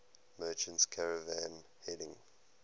merchant caravan heading